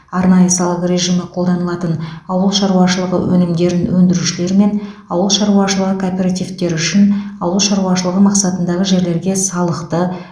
арнайы салық режимі қолданылатын ауыл шаруашылығы өнімдерін өндірушілер мен ауыл шаруашылығы кооперативтері үшін ауыл шаруашылығы мақсатындағы жерлерге салықты